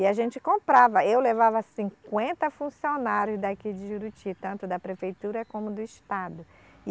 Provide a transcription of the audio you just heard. E a gente comprava, eu levava cinquenta funcionários daqui de Juruti, tanto da prefeitura como do estado.